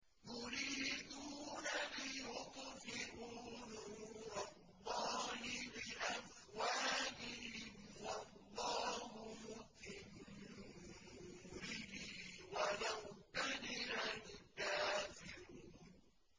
يُرِيدُونَ لِيُطْفِئُوا نُورَ اللَّهِ بِأَفْوَاهِهِمْ وَاللَّهُ مُتِمُّ نُورِهِ وَلَوْ كَرِهَ الْكَافِرُونَ